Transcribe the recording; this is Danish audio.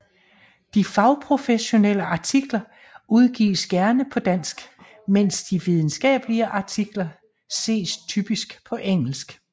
De fagprofessionelle artikler udgives gerne på dansk mens de videnskabelige artikler ses typisk på engelsk